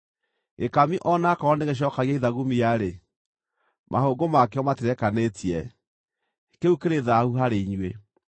Gĩkami o na aakorwo nĩgĩcookagia ithagumia-rĩ, mahũngũ makĩo matirekanĩtie; kĩu kĩrĩ thaahu harĩ inyuĩ.